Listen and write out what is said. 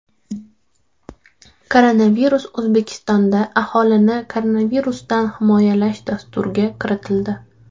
Koronavirus O‘zbekistonda Aholini koronavirusdan himoyalash dasturga kiritildi.